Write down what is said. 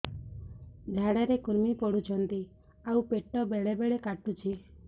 ଝାଡା ରେ କୁର୍ମି ପଡୁଛନ୍ତି ଆଉ ପେଟ ବେଳେ ବେଳେ କାଟୁଛି